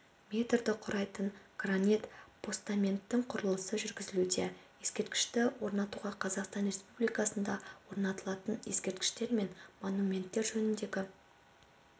метрді құрайтын гранит постаменттің құрылысы жүргізілуде ескерткішті орнатуға қазақстан республикасында орнатылатын ескерткіштер мен монументтер жөніндегі